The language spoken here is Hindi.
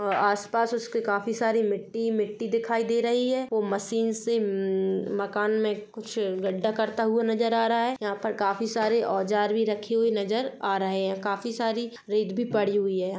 अ आस-पास उसके काफी सारी मिट्टी-मिट्टी दिखाई दे रही है वो मशीन से म मकान में कुछ गढ्ढा करता हुआ नजर आ रहा है यहाँ पर काफी सारे औजार भी रखे हुए नजर आ रहे हैं काफी सारी रेत भी पड़ी हुई है यहाँ।